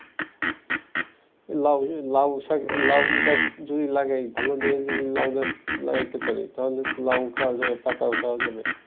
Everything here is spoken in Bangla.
লাউ লাউ শাক লাউ গাছ যদি লাগাই ভালো করে যদি লাউ গাছ লাগাইতে পারি তাহলে লাউ খাওয়া যায়, পাতাও খাওয়া যাবে ।